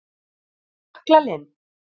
Jöklalind